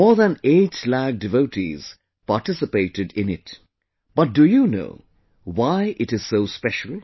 More than eight lakh devotees participated in it...But do you know why it is so special